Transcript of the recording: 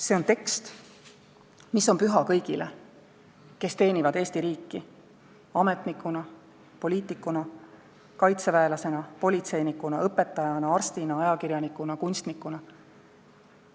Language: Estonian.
See on tekst, mis on püha kõigile, kes teenivad Eesti riiki ametnikuna, poliitikuna, kaitseväelasena, politseinikuna, õpetajana, arstina, ajakirjanikuna, kunstnikuna.